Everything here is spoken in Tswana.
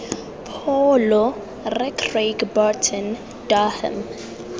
pholo rre craig burton durham